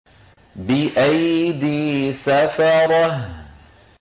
بِأَيْدِي سَفَرَةٍ